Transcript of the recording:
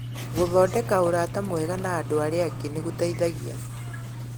Gũthondeka ũrata mwega na andũ arĩa angĩ nĩ gũteithagia